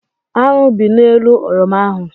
Aṅụ bị n'elu oroma ahụ.